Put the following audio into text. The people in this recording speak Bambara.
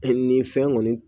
nin fɛn kɔni